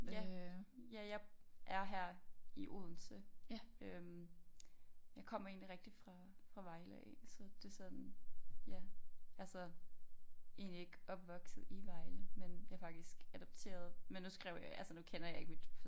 Ja ja jeg er her i Odense øh jeg kommer egentlig rigtigt fra fra Vejle af så det sådan ja altså egentlig ikke opvokset i Vejle men jeg faktisk adopteret men nu skrev jeg altså nu kender jeg ikke mit